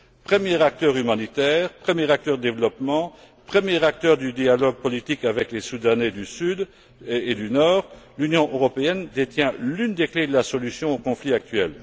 Premier acteur humanitaire, premier acteur du développement, premier acteur du dialogue politique avec les Soudanais et les Sud Soudanais, l'Union européenne détient l'une des clés de la solution au conflit actuel.